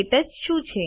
ક્ટચ શું છે